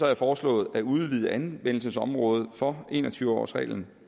jeg foreslået at udvide anvendelsesområdet for en og tyve årsreglen